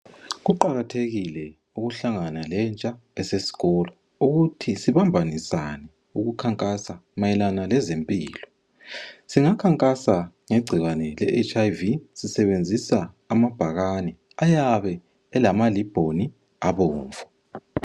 Kuqakathekile ukuhlangana lentsha esesikolo ukuthi sibambanisane ukukhankasa mayelana lezempilo, singakhankasa nge ngegcikwane le HIV sisebenzisa amabhakane ayabe elama libhoni abomvu.